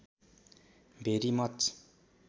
भेरि much